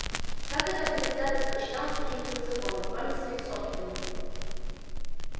как это предвзятость подчинялась каким-либо законам кроме своих собственных